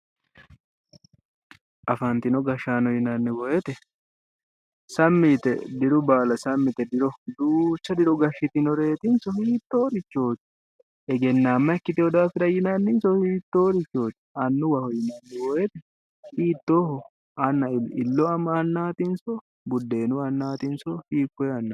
Afantino gashaano yinanni woyite sammi yite diru baala sammi yite diro duucha diro gashitinoreetinso hiittoo richooti egennaamma ikkitewo daafira yinanninso hiittoorichooti annuwaho yinanni woyite hiittooho anna illo annaatinso buddeenu annaatinso hiikkoye annaati